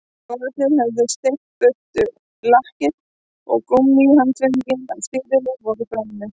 Logarnir höfðu sleikt burt lakkið og gúmmíhandföngin á stýrinu voru bráðnuð